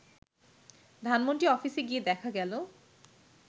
ধানমন্ডি অফিসে গিয়ে দেখা গেল